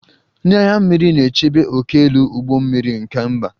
Ndị agha mmiri na-echebe ókèala ụgbọ mmiri nke mba